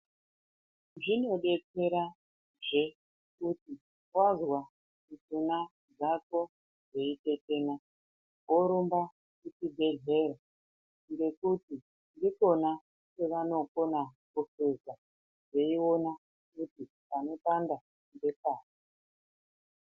Zvinodetsera zvekuti wazwa mishuna dzako dzeitetena worumba kuchibhedhlera ngekuti ndikona kwevanokona kuhluza veiona kuti panopanda ngepari.